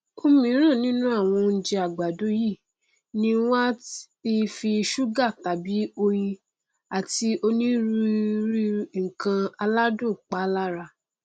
òmíràn nínú àwọn oújẹ àgàdo yìí ni wọn á ti fi ṣúgà tàbí oyin àti onírúirú nnkan aládùn pa lára